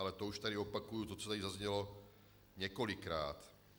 Ale to už tady opakuji to, co tady zaznělo několikrát.